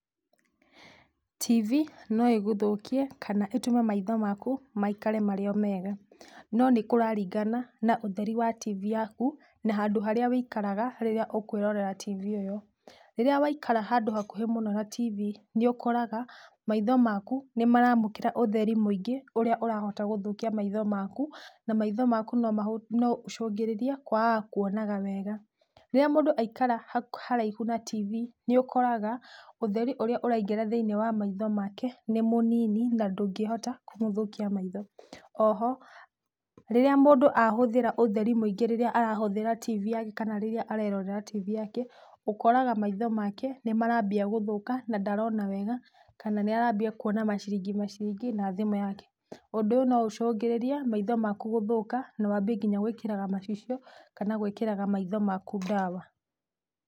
TV no ĩgũthũkie kana ĩtũme maitho maku maikare marĩ o mega. No nĩkũraringana na ũtheri wa TV yaku na handũ harĩa wĩikaraga rĩrĩa ũkwĩrorera TV ĩyo. Rĩrĩa waikara handũ hakuhĩ mũno na TV, nĩũkoraga maitho maku nĩmaramũkĩra ũtheri mũingĩ ũrĩa ũrahota gũthũkia maitho maku, na maitho maku noũcũngĩrĩrĩe kwagaga kwonaga wega. Rĩrĩa mũndũ aikara haraihu na TV, nĩũkoraga ũtheri ũrĩa ũraingĩra thĩiniĩ wa maitho make nĩ mũnini na ndũngĩhota kũmũthũkia maitho. Oho, rĩrĩa mũndũ ahũthĩra ũtheri mũingĩ rĩrĩa arahũthĩra TV yake kana rĩrĩa arerorera TV yake, ũkoraga maitho make nĩmarambia gũthũka na ndarona wega kana nĩ arambia kuona maciringimaciringi na thimũ yake. Ũndũ ũyũ no ũcũngĩrĩrie maitho maku gũthũka na wambi nginya gwĩkĩraga macicio kana gwĩkĩraga maitho maku ndawa.